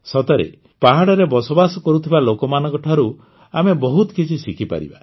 ସତରେ ପାହାଡ଼ରେ ବସବାସ କରୁଥିବା ଲୋକମାନଙ୍କଠାରୁ ଆମେ ବହୁତ କିଛି ଶିଖିପାରିବା